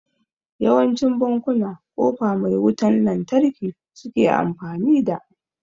Yawancin bankuna kofa mai wutan lantarki suke amfani da